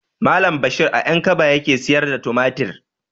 Malam bashir a ƴankaba yake siyar da tumatir